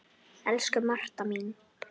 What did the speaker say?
Elsku Marta mín.